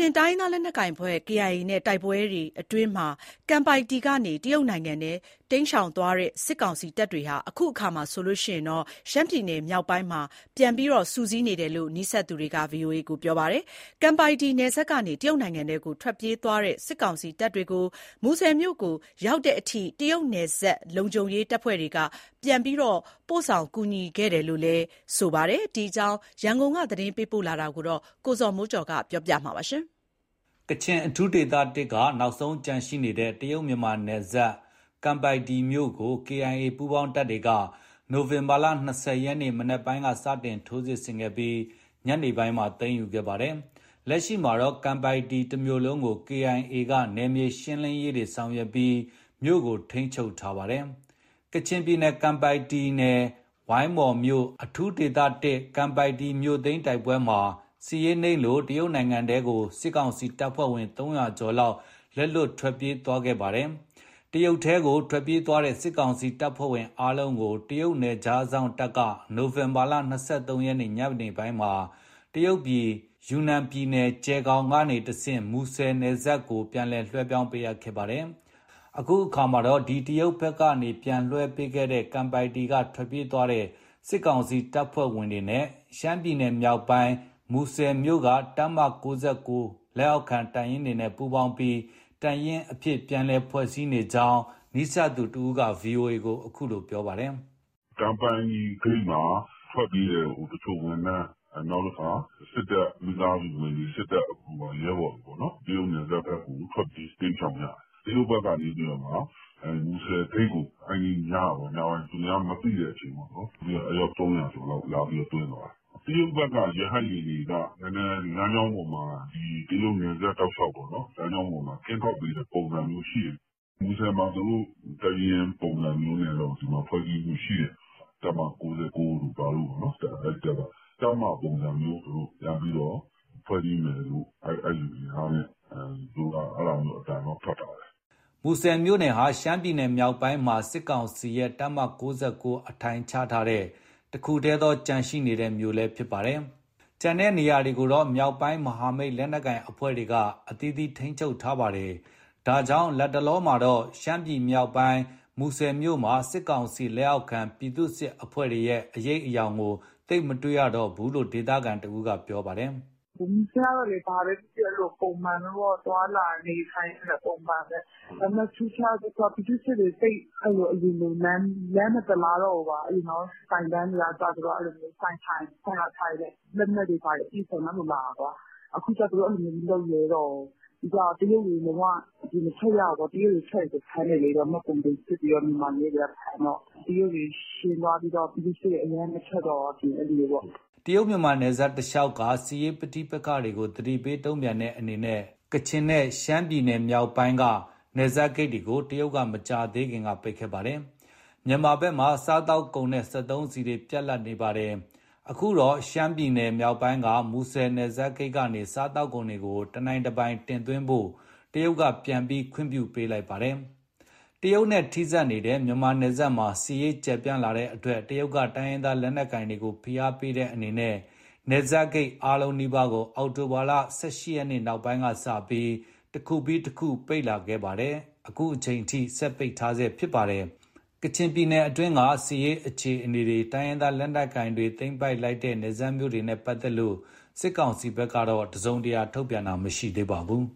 င်းရင်းသားလက်နက်ကိုင်အဖွဲ့ KIA နဲ့ တိုက်ပွဲအတွင်း ကန်ပိုက်တီ (ကံပိုင်တည်) ကနေ တရုတ်နိုင်ငံထဲ တိမ်းရှောင်သွားတဲ့ စစ်ကောင်စီတပ်တွေ အခုအခါ ရှမ်းပြည်နယ်မြောက်ပိုင်းမှာ ပြန်လည် စုစည်းနေတယ်လို့ နီးစပ်သူတွေက ပြောပါတယ်။ ကန်ပိုက်တီနယ်စပ်ကနေ တရုတ်နိုင်ငံထဲကို ထွက်ပြေးသွားတဲ့ စစ်ကောင်စီတပ်တွေကို မူဆယ်မြို့ကို ရောက်တဲ့အထိ တရုတ်နယ်စပ်လုံခြုံရေး တပ်ဖွဲ့တွေက ပြန်ပို့ဆောင်ကူညီပေးခဲ့ကြောင်းလည်း ပြောပါတယ်။ ဒီအကြောင်း ရန်ကုန်က သတင်းပေးပို့ထားတာပါတယ်။ ကချင်အထူးဒေသ (၁) က နောက်ဆုံးကျန်ရှိနေတဲ့ တရုတ်- မြန်မာနယ်စပ် ကန်ပိုက်တီ (ကံပိုင်တည်) မြို့ကို KIA ပူးပေါင်းတပ်တွေက ဒီလနိုဝင်ဘာလ ၂၀ရက်နေ့ မနက်ပိုင်းက စတင်ထိုးစစ်ဆင်ခဲ့ပြီး ညနေပိုင်းမှာ သိမ်းယူခဲ့ပါတယ်။ လက်ရှိမှာတော့ ကန်ပိုက်တီ (ကံပိုင်တည်) တမြို့လုံးကို KIA က နယ်မြေရှင်းလင်းရေးတွေ ဆောင်ရွက်ပြီး မြို့ကို ထိန်းချုပ်ထားတာဖြစ်ပါတယ်။ ကချင်ပြည်နယ် ကန်ပိုက်တီနယ်၊ ဝိုင်းမော်မြို့၊ အထူးဒေသ(၁)ကန်ပိုက်တီမြို့သိမ်းတိုက်ပွဲမှာ စစ်ရေးနိမ့်လို့ တရုတ်နိုင်ငံထဲကို စစ်ကောင်စီတပ်ဖွဲ့ဝင် (၃၀၀) ကျော် လက်လွတ်ထွက်ပြေးသွားခဲ့တာပါ။ တရုတ်ထဲကို ထွက်ပြေးသွားတဲ့ စစ်ကောင်စီတပ်ဖွဲ့ဝင်အားလုံးကို တရုတ်နယ်ခြားစောင့်တပ်က နိုဝင်ဘာလ ၂၃ရက် ညပိုင်းမှာ တရုတ်ပြည်၊ ယူနန်ပြည်နယ်၊ကျယ်ဂေါင်မှတဆင့် မူဆယ်နယ်စပ်ကနေ ပြန်ပြီး လွှဲပြောင်းပေးခဲ့တာပါ။ အခုအခါမှာတော့ အဲ့ဒီ့တရုတ်ဘက်ကပြန်လွှဲပေးတဲ့ ကန်ပိုက်တီက ထွက်ပြေးသွားကြတဲ့ စစ်ကောင်စီတပ်ဖွဲ့ဝင်တွေနဲ့ ရှမ်းပြည်နယ်မြောက်ပိုင်း မူဆယ်မြို့က တပ်မ(၉၉) လက်အောက်ခံတပ်တွေနဲ့ ပူးပေါင်းပြီး တပ်ရင်းအဖြစ် ပြန်ပြီး ဖွဲ့စည်းနေကြောင်း နီးစပ်သူတဦးက ဗွီအိုအေကို အခုလိုပြောပြပါတယ်။ "ကန်ပိုက်တီ (ကံပိုင်တည်) ဂိတ်မှာ ထွက်ပြေးတဲ့တချို့ဝန်ထမ်း နောက်ပြီး စစ်တပ်မိသားစုဝင်တွေ၊ စစ်တပ်ရဲဘော်တွေပေါ့ တရုတ်နယ်စပ်ဘက်ကို ထွက်ပြေး၊ တိမ်းရှောင်ကြတယ်။ တရုတ်က်နေ မူဆယ်ဂိတ်ကို အဲဒီည ညပိုင်း သူများမသိတဲ့အချိန်မှာ အယောက် ၃၀၀ကျော်လောက် လာပြီးသွင်းသွားတယ်။ တရုတ်ဘက်က ရဟတ်ယာဉ်တွေက လမ်းကြောင်းပေါ်မှာ တရုတ်နယ်စပ်တလျှောက်ပေါ့ ကင်းထောက်ပေးတဲ့ ပုံစံမျိုးရှိတယ်။ မူဆယ်မှာ သူတို့(စစ်ကောင်စီ) တပ်ရင်းပုံစံမျိုးနဲ့ ဒီမှာ ဖွဲ့စည်းမှုရှိတယ်။ တပ်မ(၉၉)တို့ဘာတို့ပေါ့ အဲထဲမှာ တပ်မပုံစံမျိုးသူတို့ ပြန်ပြီးတော့ ဖွဲ့စည်းမယ်လို့ သူတို့ အဲဒါမျိုး အသံထွက်ထားတယ်။" မူဆယ်မြို့ဟာ ရှမ်းပြည်နယ်မြောက်ပိုင်းမှာ စစ်ကောင်စီရဲ့ တပ်မ(၉၉) အထိုင်ချထားတဲ့ တခုတည်းသော ကျန်ရှိနေတဲ့ မြို့လည်း ဖြစ်ပါတယ်။ ကျန်တဲ့နေရာတွေကိုတော့ မြောက်ပိုင်းမဟာမိတ် လက်နက်ကိုင်အဖွဲ့တွေက အသီးသီး ထိန်းချုပ်ထားပါတယ်။ ဒါကြောင့် လတ်တလောမှာတော့ ရှမ်းမြောက် မူဆယ်မြို့မှာ စစ်ကောင်စီလက်အောက်ခံ ပြည်သူစစ်အဖွဲ့တွေရဲ့ အရိပ်အယောင်ကို သိပ်မတွေ့တော့ကြောင်း ဒေသခံတဦးက ပြောပါတယ်။ " မူဆယ်ကတော့ ဘာပဲဖြစ်ဖြစ် အဲလို သွားလာနေထိုင်တာ ပုံမှန်ပဲ။ ဒါပေမဲ့ ထူးခြားတာတခုက ပြည်သူ့စစ်တွေ သိပ်အရင်လို လမ်း မသလားတော့ဘူး၊ ဆိုင်ခန်းတွေကအစ သူတို့ဆိုင်လာထိုင်ရင် လက်နက်တွေဘာတွေ အပြည့်အစုံနဲ့ အဲလိုလာတာ။ အခုကသူတို့ အဲလိုမလုပ်ရဲတော့ဘူး။ ပြီးတော့ တရုတ်တွေ လုံးဝ အပြင်မထွက်ရဘူး။ ထွက်ရင်ဖမ်းတယ် မှတ်ပုံတင်စစ်ပြီး မြန်မာရဲတွေကဖမ်းတော့ တရုတ်တွေရှင်းသွားပြီးတော့ ပြည်သူ့စစ်တွေ အရင်လို မထွက်တော့ဘူး။" တရုတ် မြန်မာနယ်စပ်တလျှောက်က စစ်ရေးပဋိပက္ခတွေကို သတိပေး တုံ့ပြန်တဲ့အနေနဲ့ ကချင်နဲ့ ရှမ်းပြည်နယ်မြောက်ပိုင်းက နယ်စပ်ဂိတ်တွေကို တရုတ်က မကြာသေးခင်က ပိတ်ခဲ့ပါတယ်။ မြန်မာဘက်မှာ စားသောက်ကုန်နဲ့ စက်သုံးဆီတွေ ပြတ်လပ်ခဲ့ပါတယ်။ အခုတော့ ရှမ်းပြည်နယ်မြောက်ပိုင်းက မူဆယ်နယ်စပ်ဂိတ်ကနေ စားသောက်ကုန်တွေကို တနိုင်တပိုင်တင်သွင်းဖို့ တရုတ်က ပြန်ပြီး ခွင့်ပြုပေးလိုက်ပါတယ်။ တရုတ်နဲ့ထိစပ်နေတဲ့ မြန်မာနယ်စပ်မှာ စစ်ရေးကျယ်ပြန့်လာတဲ့အတွက် တရုတ်က တိုင်းရင်းသား လက်နက်ကိုင်တွေကို ဖိအားပေးတဲ့အနေနဲ့ နယ်စပ်ဂိတ်အားလုံးနီးပါးကို အောက်တိုဘာလ ၁၈ရက် နောက်ပိုင်းကစပြီး တခုပြီးတခု ပိတ်လာခဲ့ပြီး အခုချိန်အထိ ပိတ်ထားဆဲဖြစ်ပါတယ်။ ကချင်ပြည်နယ်တွင်းက စစ်ရေးအခြေအနေတွေ တိုင်းရင်းသားလက်နက်ကိုင်တွေ သိမ်းပိုက်လိုက်တဲ့ နယ်စပ်မြို့တွေနဲ့ပတ်သက်လို့ စစ်ကောင်စီဘက်က တစုံတရာ သတင်းထုတ်ပြန်တာမရှိသေးပါဘူး